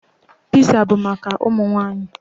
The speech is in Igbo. Piza bụ maka ụmụ nwaanyị.